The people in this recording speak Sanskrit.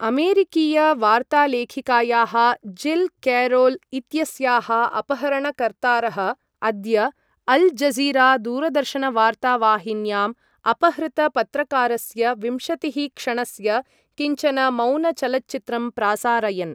अमेरिकीयवार्तालेखिकायाः जिल् केरोल् इत्यस्याः अपहरणकर्तारः अद्य अल् जज़ीरा दूरदर्शनवार्तावाहिन्यां अपहृतपत्रकारस्य विंशतिः क्षणस्य किञ्चन मौन चलच्चित्रं प्रासारयन्।